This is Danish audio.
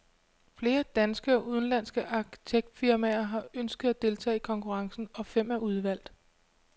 Flere danske og udenlandske arkitektfirmaer har ønsket at deltage i konkurrencen, og fem er udvalgt.